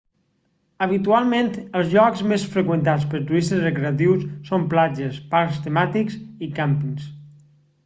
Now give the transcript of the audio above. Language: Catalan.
habitualment els llocs més freqüentats pels turistes recreatius són platges parcs temàtics i càmpings